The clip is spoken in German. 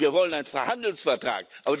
Und wir wollen einen Freihandelsvertrag.